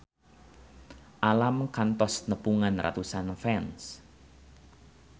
Alam kantos nepungan ratusan fans